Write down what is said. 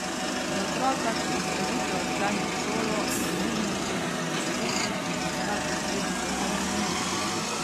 Za otroka, ki izrazito odklanja šolo, je nujno treba zagotoviti in poiskati ustrezno strokovno pomoč.